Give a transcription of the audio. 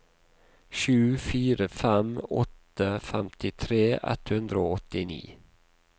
sju fire fem åtte femtitre ett hundre og åttini